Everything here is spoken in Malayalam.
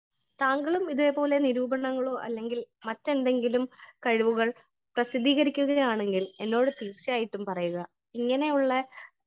സ്പീക്കർ 1 താങ്കളും ഇതേ പോലെ നിരൂപണങ്ങളോ അല്ലെങ്കിൽ മറ്റെന്തെങ്കിലും കഴിവുകൾ പ്രസിദ്ധീകരിക്കുകയാണെങ്കിൽ എന്നോട് തീർച്ചയായിട്ടും പറയുക . ഇങ്ങനെയുള്ള